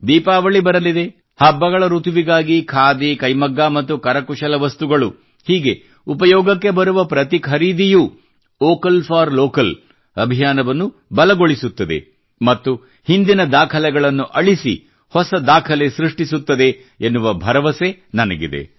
ದೀಪಾವಳಿ ಬರಲಿದೆ ಹಬ್ಬಗಳ ಋತುವಿಗಾಗಿ ಖಾದಿ ಕೈಮಗ್ಗ ಮತ್ತು ಕರಕುಶಲ ವಸ್ತುಗಳು ಹೀಗೆ ಉಪಯೋಗಕ್ಕೆ ಬರುವ ಪ್ರತಿ ಖರೀದಿಯೂ ವೋಕಲ್ ಫಾರ್ ಲೋಕಲ್ ಅಭಿಯಾನವನ್ನು ಬಲಗೊಳಿಸುತ್ತದೆ ಮತ್ತು ಹಿಂದಿನ ದಾಖಲೆಗಳನ್ನು ಅಳಿಸಿ ಹೊಸ ದಾಖಲೆ ಸೃಷ್ಟಿಸುತ್ತದೆ ಎನ್ನುವ ಭರವಸೆ ನನಗಿದೆ